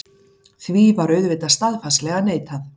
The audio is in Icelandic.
Því var auðvitað staðfastlega neitað.